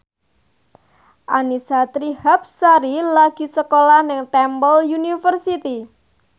Annisa Trihapsari lagi sekolah nang Temple University